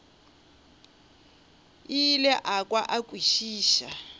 ile a kwa a kwešiša